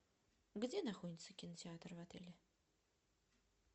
где находится кинотеатр в отеле